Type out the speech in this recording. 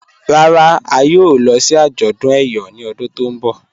Rárá, à yóò lọ̀ sí ajọ̀dún Eyọ̀ ni ọ̀dún tó nbọ̀